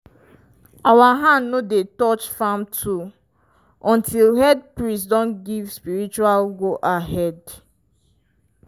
our hand no dey touch farm tool until head priest don give spiritual go-ahead.